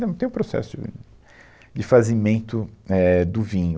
Né, não tem o processo de vinho, de fazimento, éh, do vinho.